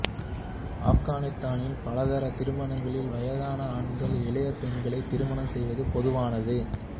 ஆப்கானித்தானில் பலதார திருமணங்களில் வயதான ஆண்கள் இளைய பெண்களை திருமணம் செய்வது பொதுவானது